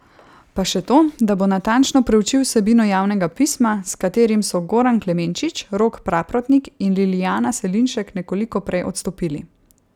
Pa še to, da bo natančno preučil vsebino javnega pisma, s katerim so Goran Klemenčič, Rok Praprotnik in Lilijana Selinšek nekoliko prej odstopili.